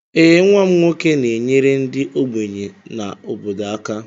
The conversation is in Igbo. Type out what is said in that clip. Ee, nwa m nwoke na-enyere ndị ogbenye na obodo aka